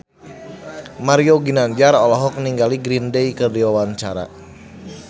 Mario Ginanjar olohok ningali Green Day keur diwawancara